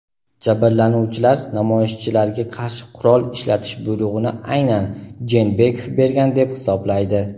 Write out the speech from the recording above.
Jabrlanuvchilar namoyishchilarga qarshi qurol ishlatish buyrug‘ini aynan Jeenbekov bergan deb hisoblaydi.